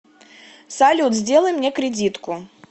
салют сделай мне кредитку